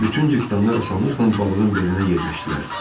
Bütün cırtdanlar asanlıqla balığın belinə yerləşdilər.